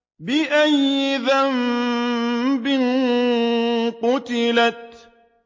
بِأَيِّ ذَنبٍ قُتِلَتْ